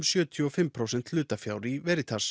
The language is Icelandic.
sjötíu og fimm prósent hlutafjár í